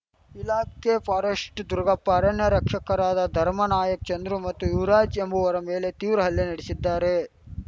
ಇಲಾಖೆಯ ಫಾರೆಸ್ಟೆ ದುಗರ್‍ಪ ಅರಣ್ಯ ರಕ್ಷಕರಾದ ಧರ್ಮಾ ನಾಯಕ್‌ ಚಂದ್ರು ಮತ್ತು ಯುವರಾಜ್‌ ಎಂಬುವವರ ಮೇಲೆ ತೀವ್ರ ಹಲ್ಲೆ ನಡೆಸಿದ್ದಾರೆ